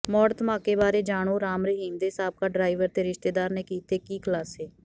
ਮੌੜ ਧਮਾਕੇ ਬਾਰੇ ਜਾਣੋਂ ਰਾਮ ਰਹੀਮ ਦੇ ਸਾਬਕਾ ਡਰਾਈਵਰ ਤੇ ਰਿਸ਼ਤੇਦਾਰ ਨੇ ਕੀਤੇ ਕੀ ਖੁਲਾਸੇ